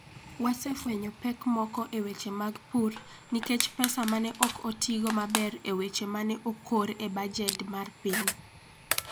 Wasefwenyo pek moko e weche mag pur nikech pesa ma ne ok otigo maber e weche ma ne okor e bajet mar piny.